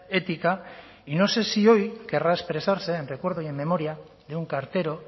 ética y no sé si hoy querrá expresarse en recuerdo y en memoria de un cartero